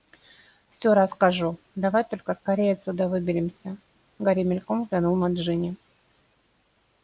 всё расскажу давай только скорее отсюда выберемся гарри мельком взглянул на джинни